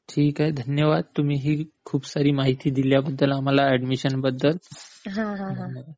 अच्छा ठीक आहे. धन्यवाद तुम्ही ही खूप सारी माहिती दिल्याबद्दल आम्हाला ऍडमिशन बद्दल.